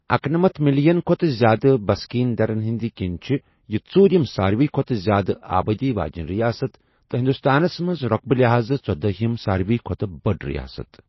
اکنٔمتَھ million کھۄتہٕ زیادٕ بسکیٖن دَرن ہِنٛدِ کِنہِ چھےٚ یہِ ژوُرِم سارِوٕیہ کھۄتہٕ زیادٕ آبٲدی واجیٚنہِ رِیاست تہٕ ہِنٛدُستانس منٛز رۄقبہٕ لحاظہٕ ژۄدٲہِم سارِوٕیہ کھۄتہٕ بٔڑ رِیاست۔